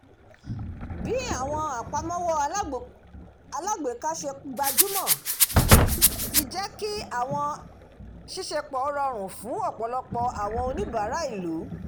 bí àwọn apàmọwọ alágbèéká ṣe gbajúmọ̀ ti jẹ́ kí àwọn ṣíṣèpọ̀ rọrùn fún ọ̀pọ̀lọpọ̀ àwọn oníbàárà ìlú